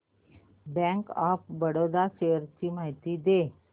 bank of Baroda shares ची माहिती दे